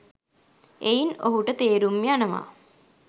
එයින් ඔහුට තේරුම් යනවා